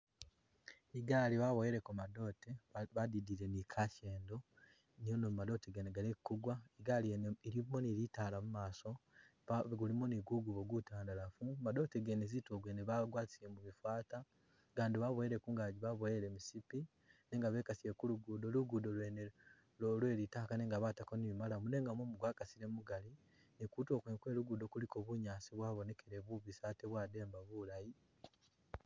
I'gaali baboweleko madote ba badidile ni kashendo niono madote gano galeme gukwa, i'gaali wene ilimo ni bitala mumaaso, ba ilimo ni ku ngubo ku tandalafu, madote gene kutuulo gwene bagwatisile mu bifata, agandi baboyele gungaji babowele musipi nenga bekasile ku lugudo, lugudo lwene lwo lwe litaka nenga batako ni maramu nenga mumu kwa kasile mugali ni kutuulo kwene kwe lugudo kuliko bunyaasi bwabonekele bubisi ate bwademba bulaayi